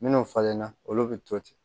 Minnu falenna olu bɛ to ten